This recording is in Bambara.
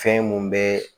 Fɛn mun bɛ